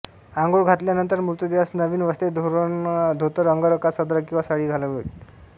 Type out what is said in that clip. आंघोळ घातल्यानंतर मृतदेहास नवीन वस्त्रे धोतरअंगरखा सदरा किंवा साडी घालावीत